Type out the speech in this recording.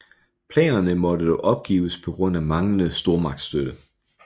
Planerne måtte dog opgives på grund af manglende stormagtsstøtte